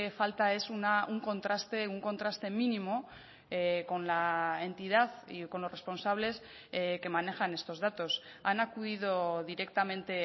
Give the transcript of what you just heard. falta es un contraste un contraste mínimo con la entidad y con los responsables que manejan estos datos han acudido directamente